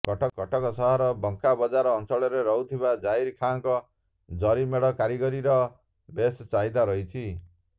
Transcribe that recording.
କଟକ ସହର ବାଙ୍କା ବଜାର ଅଞ୍ଚଳରେ ରହୁଥିବା ଜାହିର ଖାଁଙ୍କ ଜରିମେଢ଼ କାରିଗରୀର ବେଶ୍ ଚାହିଦା ରହିଛି